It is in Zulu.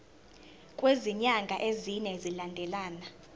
kwezinyanga ezine zilandelana